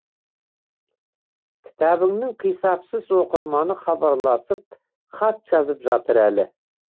кітабыңның қисапсыз оқырманы хабарласып хат жазып жатыр әлі